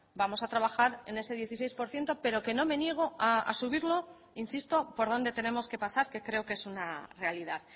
vamos a trabajar en ese dieciséis por ciento pero que no me niego a subirlo insisto por donde tenemos que pasar que creo que es una realidad